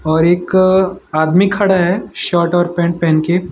और एक आदमी खड़ा है शर्ट और पैंट पहन के।